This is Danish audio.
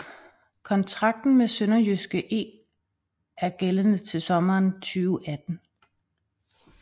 Kontrakten med SønderjyskE er gældende til sommeren 2018